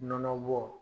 Nɔnɔ bɔ